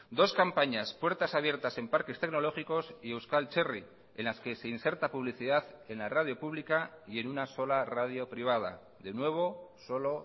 dos campañas puertas abiertas en parques tecnológicos y euskal txerri en las que se inserta publicidad en la radio pública y en una sola radio privada de nuevo solo